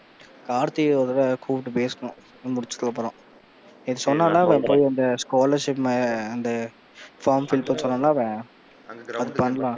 கார்த்தியை ஒரு தடவ கூப்பிட்டு பேசணும். இது முடிச்சதுக்கு அப்புறம் நேத்து சொன்னான்ல அவன் அந்த scholarship அந்த form fill பண்ண சொன்னான்ல அவன் அது பண்ணலாம்.